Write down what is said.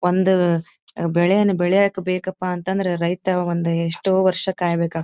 ಒಂದು ಬೆಳೆಯನ್ನು ಬೆಳೆಯಲು ಬೇಕಪ್ಪ ಅಂತಂದ್ರೆ ಒಂದು ರೈತ ಎಷ್ಟೋ ವರ್ಷ ಕಾಯಬೇಕಾಗು --